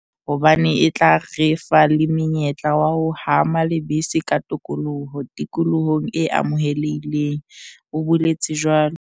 "Phaposi ya ho nyantsha e tla re thusa haholo rona ba tswetse hobane e tla re fa le monyetla wa ho hama lebese ka tokoloho tikolohong e amohelehileng," o boletse jwalo.